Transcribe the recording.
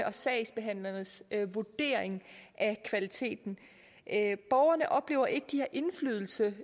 og sagsbehandlernes vurdering af kvaliteten borgerne oplever ikke at de har indflydelse